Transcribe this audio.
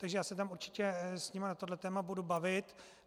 Takže já se tam určitě s nimi na toto téma budu bavit.